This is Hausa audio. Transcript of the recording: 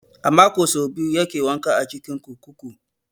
A mako so biyu yake wanka a cikin kurkuku.